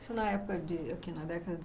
Isso na época de, aqui na década